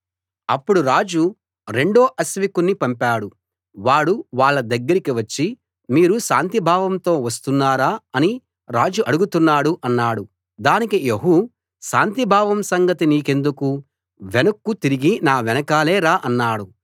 అప్పుడు రాజు రెండో అశ్వికుణ్ణి పంపాడు వాడు వాళ్ళ దగ్గరికి వచ్చి మీరు శాంతిభావంతో వస్తున్నారా అని రాజు అడుగుతున్నాడు అన్నాడు దానికి యెహూ శాంతిభావం సంగతి నీకెందుకు వెనక్కు తిరిగి నా వెనకాలే రా అన్నాడు